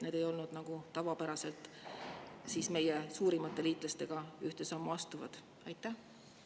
Need ei olnud meie suurimate liitlastega ühte sammu astuvad nagu tavapäraselt.